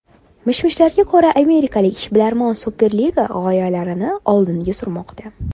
Mish-mishlarga ko‘ra, amerikalik ishbilarmonlar Superliga g‘oyalarini oldinga surmoqda.